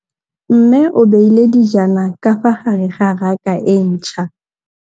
Mmê o beile dijana ka fa gare ga raka e ntšha.